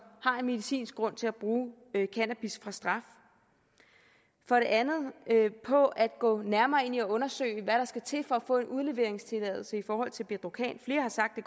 har en medicinsk grund til at bruge cannabis fra straf for det andet at gå nærmere ind i at undersøge hvad der skal til for at få en udleveringstilladelse i forhold til bedrocan flere har sagt at